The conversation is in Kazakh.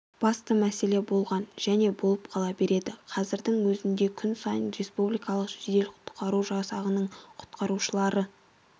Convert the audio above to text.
басты мәселе болған және болып қала береді қазірдің өзінде күн сайын республикалық жедел-құтқару жасағының құтқарушылары